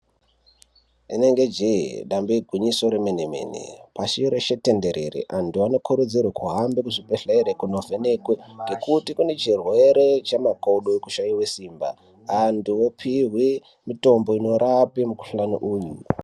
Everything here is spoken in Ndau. Rinenge je damba igwinyiso remene-mene pashi reshe tenderere vantu vanokurudzirwa kuhambe kuzvibhedhlera kundovhenekwa ngekuti kune chirwere chemakodo chekushaiwa Simba antu opiwa mitombo inorapa mikuhlani uyu.